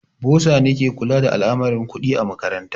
Bosa ne ke kula da al'amurran kuɗi a makaranta.